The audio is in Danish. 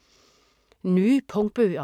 Nye punktbøger